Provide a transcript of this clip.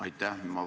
Aitäh!